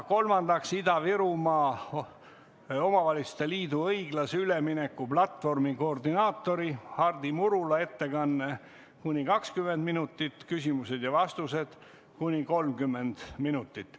Kolmandaks, Ida-Virumaa Omavalitsuste Liidu õiglase ülemineku platvormi koordinaatori Hardi Murula ettekanne kuni 20 minutit, küsimused ja vastused kuni 30 minutit.